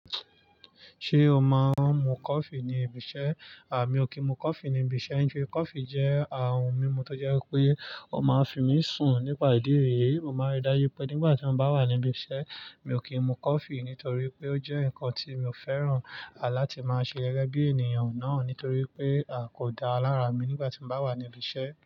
Ṣé o máa ń mu coffee ní ibi iṣẹ́? À, mi ò kí ń mu coffee ní ibi iṣẹ́. I fẹ coffee jẹ́ àrùn mímu tó jẹ́ wípé ó máa ń fi mí sùn nípa ìdí èyí, mo máa rí dájú pé nígbà tí mo bá wà ní ibi iṣẹ́. Mi ò kìn mu coffee nítorípé ó jẹ́ nkan tí mi ò fẹ́ràn láti ma ṣe gẹ́gẹ́ bí ènìyàn náà nítorí wípé a kódà lára mi nígbà tí n bá wà ní bi iṣẹ́.